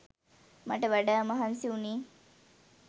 මට වඩා මහන්සිවුනේ